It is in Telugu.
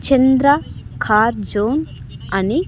చంద్ర కార్ జోన్ అని --